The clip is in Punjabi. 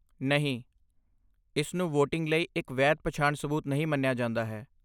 ਨਹੀਂ, ਇਸ ਨੂੰ ਵੋਟਿੰਗ ਲਈ ਇੱਕ ਵੈਧ ਪਛਾਣ ਸਬੂਤ ਨਹੀਂ ਮੰਨਿਆ ਜਾਂਦਾ ਹੈ।